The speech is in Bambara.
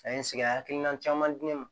A ye n sigi ka hakilina caman di ne ma